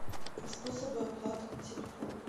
способы оплаты на телефон